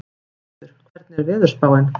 Önundur, hvernig er veðurspáin?